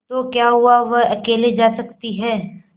तो क्या हुआवह अकेले जा सकती है